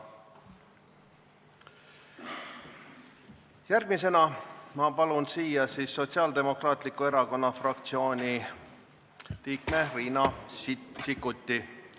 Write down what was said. Järgmisena palun kõnepulti Sotsiaaldemokraatliku Erakonna fraktsiooni liikme Riina Sikkuti.